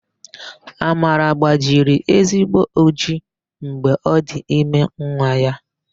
Amara gbajiri ezigbo ojii mgbe ọ dị ime nwa ya.